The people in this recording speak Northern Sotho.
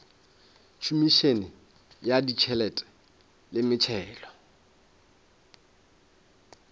khomišene ya ditšhelete le metšhelo